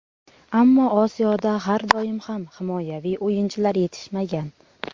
Ammo Osiyoda har doim ham himoyaviy o‘yinchilar yetishmagan.